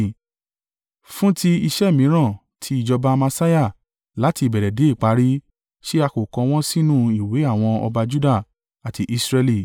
Fún ti iṣẹ́ mìíràn ti ìjọba Amasiah láti ìbẹ̀rẹ̀ dé ìparí, ṣé a kò kọ wọ́n sínú ìwé àwọn ọba Juda àti Israẹli?